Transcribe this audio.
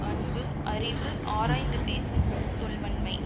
அன்பு அறிவு ஆராய்ந்து பேசும் சொல் வன்மை